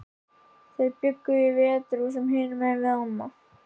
Þau bjuggu í Veturhúsum, hinum megin við ána.